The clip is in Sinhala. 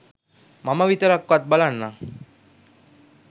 මම විතරක්වත් බලන්නම්.